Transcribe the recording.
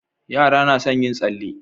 Yara na son yin tsalle